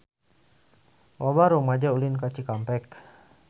Loba rumaja ulin ka Cikampek